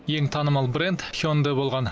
ең танымал бренд хёндэ болған